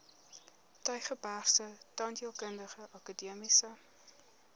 tygerbergse tandheelkundige akademiese